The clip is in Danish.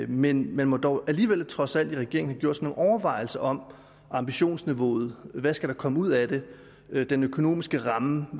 men man må dog alligevel i regeringen trods alt have gjort sig nogle overvejelser om ambitionsniveauet hvad der skal komme ud af det den økonomiske ramme